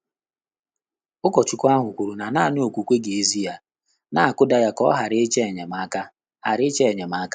Ụ́kọ́chúkwú áhụ́ kwùrù nà nāànị́ ókwúkwé gà-ézù yá, nà-ákụ́dà yá kà ọ́ ghàrà ị́chọ́ ényémáká. ghàrà ị́chọ́ ényémá.